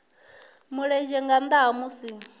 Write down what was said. mulenzhe nga nnda ha musi